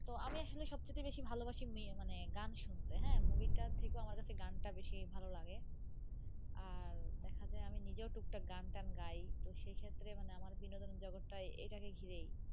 তো আমি আসলে সব চাইতে বেশি ভালোবাসি ইয়ে মানে গান শুনতে হ্যাঁ. movie টার থেকেও আমার কাছে গানটা বেশি ভালো লাগে. আর দেখা যায় আমি নিজেও টুকটাক গানটান গাই, তো সেই ক্ষেত্রে মানে আমার বিনোদন জগৎটাই এইটাকে ঘিরেই.